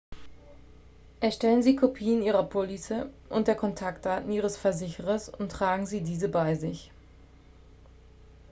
erstellen sie kopien ihrer police und der kontaktdaten ihres versicherers und tragen sie diese bei sich